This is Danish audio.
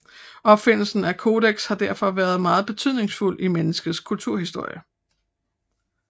Opfindelsen af kodeks har derfor været meget betydningsfuld i menneskenes kulturhistorie